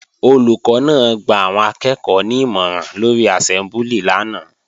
Olùkọ́ náà gba àwọn akẹ́ẹ̀kọ́ ní ìmọ̀ràn lórí àsẹ́mbúlì lánàá